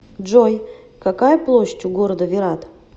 джой какая площадь у города виррат